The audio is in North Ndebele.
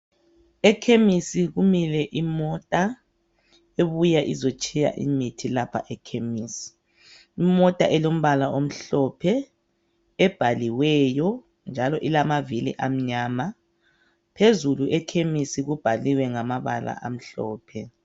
Ekhemisi kumile imota ebuya izotshiya imithi lapha ekhemisi, imota elombala omhlophe ebhaliweyo njalo ilamavili amnyama phezulu ekhemisi kubhaliwe ngamabala amhlophe.